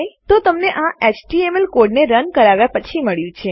તો તમને તે આપણા એચટીએમએલ એચટીએમએલ કોડને રન કરાવ્યા પછી મળ્યું છે